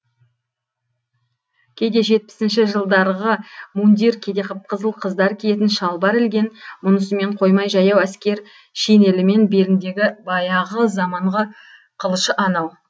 кейде жетпісінші жылдарғы мундир кейде қып қызыл қыздар киетін шалбар ілген мұнысымен қоймай жаяу әскер шинелімен беліндегі баяғы заманғы қылышы анау